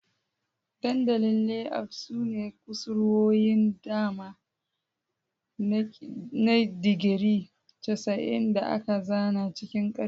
Dandalin Layout sune kusurwoyin dama na digiri 90 da aka zana cikin karfe.